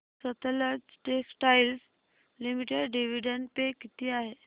Sutlej textiles limited dividend pay किती आहे